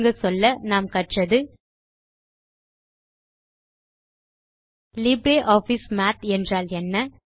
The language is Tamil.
சுருங்கச்சொல்ல நாம் கற்றது லிப்ரியாஃபிஸ் மாத் என்பது என்ன